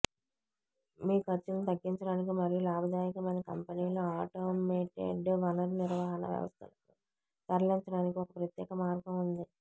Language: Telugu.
మీ ఖర్చులను తగ్గించడానికి మరియు లాభదాయకమైన కంపెనీలు ఆటోమేటెడ్ వనరు నిర్వహణ వ్యవస్థలకు తరలించడానికి ఒక ప్రత్యేక మార్గం ఉంది